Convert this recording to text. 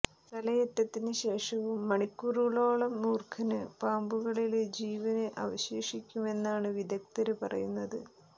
തലയറ്റതിന് ശേഷവും മണിക്കൂറുകളോളം മൂര്ഖന് പാമ്പുകളില് ജീവന് അവശേഷിക്കുമെന്നാണ് വിദഗ്ധര് പറയുന്നത്